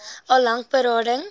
al lank berading